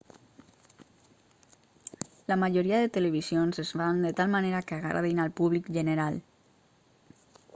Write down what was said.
la majoria de televisions es fan de tal manera que agradin al públic general